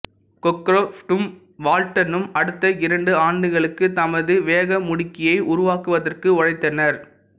கொக்ரொஃப்டும் வால்ட்டனும் அடுத்த இரண்டு ஆண்டுகளுக்கு தமது வேகமுடுக்கியை உருவாக்குவதற்கு உழைத்தனர்